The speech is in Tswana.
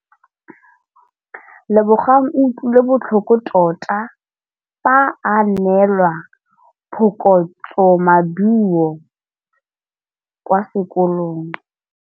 Lebogang o utlwile botlhoko tota fa a neelwa phokotsômaduô kwa sekolong.